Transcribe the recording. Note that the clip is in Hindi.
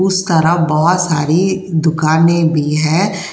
उस बहुत सारी दुकानें भी है।